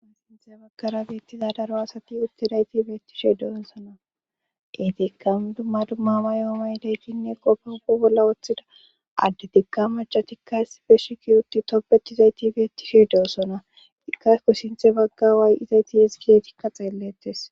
onsinthe baggara beettiza daro asati uttidayti beetti she deossona detikkan dumma dummama yoomay deykinne qofa huo bolla woththida adde tikka maca tikkaes feshiki utti topbetizayti beettishe de7ossona ika ko sinthe bagga waay izayti yezigiyeetikka xeellettes